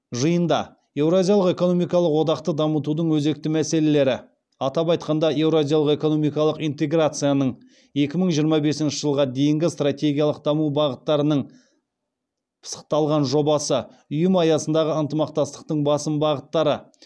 жиында еуразиялық экономикалық одақты дамытудың өзекті мәселелері атап айтқанда еуразиялық экономикалық интеграцияның екі мың жиырма бесінші жылға дейінгі стратегиялық даму бағыттарының пысықталған жобасы ұйым аясындағы ынтымақтастықтың басым бағыттары